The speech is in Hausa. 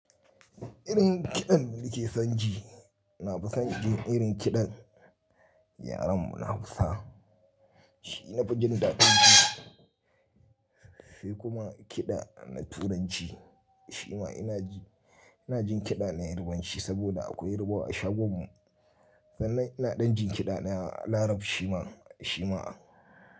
Irin kiɗan da nike son ji, ina fi son jin irin kiɗan yaren mu na Hausa. Shi ina fi jin dadan ji, sai kuma kiɗa na Turanci shima ina ji, ina jin kiɗa na Yarbanci saboda akwai yarbawa a shagon mu. Sannan ina ɗan jin kiɗa na Larab shima, shima.